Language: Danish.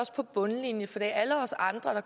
på bundlinjen for det er alle os andre